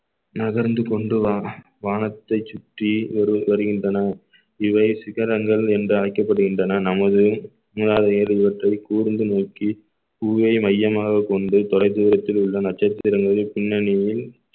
நகர்ந்து கொண்டு வா~ வானத்தை சுற்றி வரு~ வருகின்றன இவை சிகரங்கள் என்று அழைக்கப்படுகின்றன நமது ஓட்டும் கூர்ந்து நோக்கி பூவை மையமாகக் கொண்டு தொலைதூரத்தில் உள்ள நட்சத்திரங்களின் பின்னணியில்